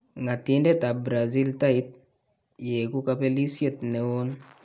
Ng'atindetab Brazil Tite :" yekuu kabelisyeet neon .